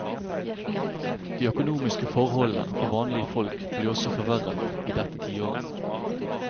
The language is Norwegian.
De økonomiske forholdene for vanlige folk ble også forverret i dette tiåret.